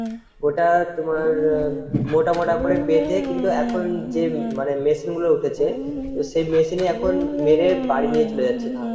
ওটা তোমার মোটা মোটা করে বেঁধে কিন্তু এখন যে মানে machine গুলো উঠেছে তো সেই machine এ এখন মেরে বাড়ি নিয়ে চলে যাচ্ছে ধান।